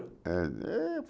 É, é